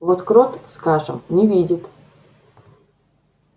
вот крот скажем не видит